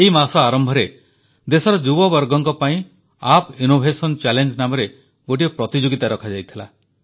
ଏହି ମାସ ଆରମ୍ଭରେ ଦେଶର ଯୁବବର୍ଗଙ୍କ ପାଇଁ ଆପ୍ ଇନ୍ନୋଭେସନ୍ ଚ୍ୟାଲେଞ୍ଜ ନାମରେ ଗୋଟିଏ ପ୍ରତିଯୋଗିତା ରଖାଯାଇଥିଲା